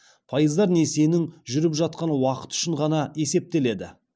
пайыздар несиенің жүріп жатқан уақыты үшін ғана есептеледі